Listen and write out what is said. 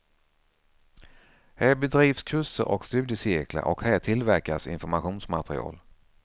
Här bedrivs kurser och studiecirklar och här tillverkas informationsmaterial.